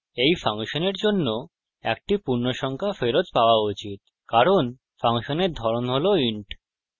এই ফাংশনের জন্য একটি পূর্ণসংখ্যা ফেরত পাওয়া উচিত কারণ ফাংশনের ধরন has int